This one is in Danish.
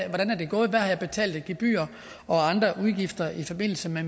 der er betalt af gebyrer og andre udgifter i forbindelse med